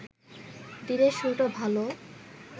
দিনের শুরুটা ভালো